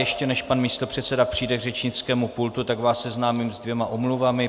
Ještě než pan místopředseda přijde k řečnickému pultu, tak vás seznámím se dvěma omluvami.